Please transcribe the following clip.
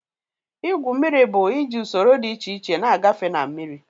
Ígwu mmiri bụ iji usoro dị iche iche na-agafe na mmiri.